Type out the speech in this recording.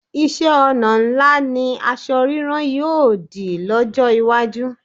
Iṣẹ́-ọnà ńlá ni asọ rírán yóò dì lọ́jọ́ iwájú.